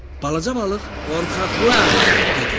Balaca balıq: “Qorxaqlar!” dedi.